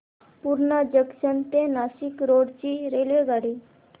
Purna junction ते Nashik road ची रेल्वेगाडी